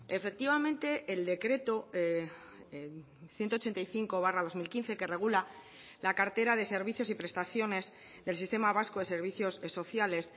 efectivamente el decreto ciento ochenta y cinco barra dos mil quince que regula la cartera de servicios y prestaciones del sistema vasco de servicios sociales